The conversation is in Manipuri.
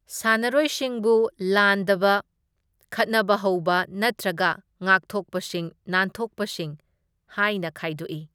ꯁꯥꯟꯅꯔꯣꯢꯁꯤꯡꯕꯨ ꯂꯥꯟꯗꯕ, ꯈꯠꯅꯕ ꯍꯧꯕ ꯅꯠꯇ꯭ꯔꯒ ꯉꯥꯛꯊꯣꯛꯄꯁꯤꯡ ꯅꯥꯟꯊꯣꯛꯄꯁꯤꯡ ꯍꯥꯢꯅ ꯈꯥꯢꯗꯣꯛꯏ꯫